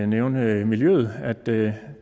nævne miljøet at det